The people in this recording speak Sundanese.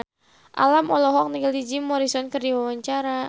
Alam olohok ningali Jim Morrison keur diwawancara